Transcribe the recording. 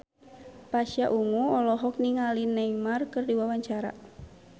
Pasha Ungu olohok ningali Neymar keur diwawancara